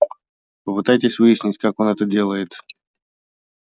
попытайтесь выяснить как он это делает